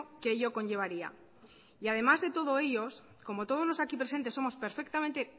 que ello conllevaría y además de todo ello como todos lo aquí presentes somos perfectamente